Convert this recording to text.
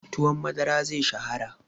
Tuwon madara zai shahara.